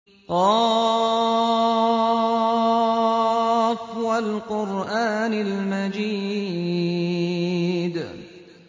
ق ۚ وَالْقُرْآنِ الْمَجِيدِ